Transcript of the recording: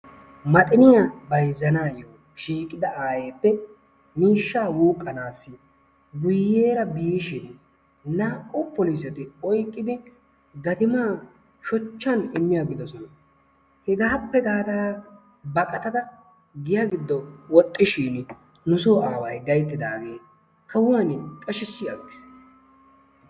Maxiniyaa bayzzanayoo yiidi ayeeppe miishshaa wuuqqanaasi guyeera biishin naa"u poliseti oyqqidi gatimaan shochchaa immi agidoosona. Hegaappe gaada baqqatada giya giddo woxxiishin nu soo aaway gayttidaagee kuwaan qashisi agiis.